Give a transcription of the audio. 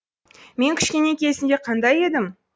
мен кішкене кезімде қандай едім